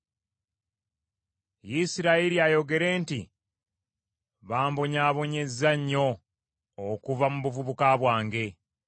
Isirayiri ayogere nti, “Bambonyaabonyezza nnyo okuva mu buvubuka bwange.”